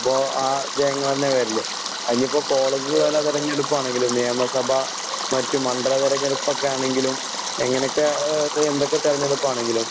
അപ്പൊ ആ ജയങ്ങളന്നെ വരില്ലേ. ഇഞ്ഞീപ്പൊ കോളേജ് തല തെരഞ്ഞെടുപ്പാണെങ്കിലും നെയമ സഭ മറ്റ് മണ്ഡല തെരഞ്ഞെടുപ്പൊക്കാണെങ്കിലും എങ്ങനൊക്ക ആഹ് എന്തൊക്കെത്തെരഞ്ഞെടുപ്പാണെങ്കിലും